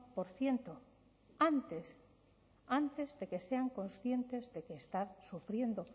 por ciento antes antes de que sean conscientes de que están sufriendo